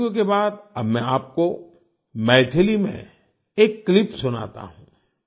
तेलुगु के बाद अब मैं आपको मैथिली में एक क्लिप सुनाता हूँ